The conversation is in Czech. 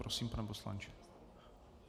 Prosím, pane poslanče.